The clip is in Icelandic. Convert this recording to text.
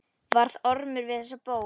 Varð Ormur við þessari bón.